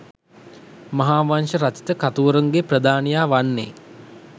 මහාවංශ රචිත කතුවරුන්ගේ ප්‍රධානියා වන්නේ